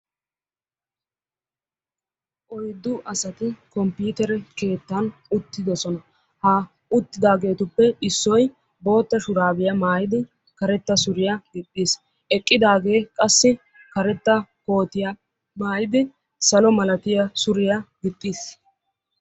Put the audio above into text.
oyddu asati komppitere keetta uttidoosona; ha uttidaagetuppe issoy bootta shurabiya maayyid karetta suriyaa gixiis; eqqidaage qassi karetta koottiya maayyid salo malatiyaa suriyaa gixiis.